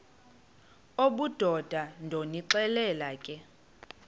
obudoda ndonixelela ke